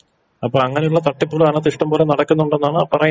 അപ്പൊ അങനെള്ള തട്ടിപ്പുകൾ അതിനകത്ത് ഇഷ്ടം പോലെ നടക്കുന്നുണ്ടെന്നാണ് പറയുന്നത്.